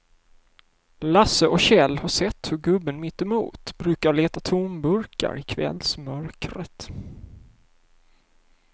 Lasse och Kjell har sett hur gubben mittemot brukar leta tomburkar i kvällsmörkret.